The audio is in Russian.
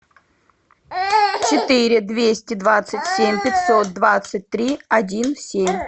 четыре двести двадцать семь пятьсот двадцать три один семь